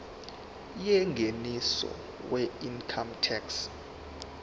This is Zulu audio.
yengeniso weincome tax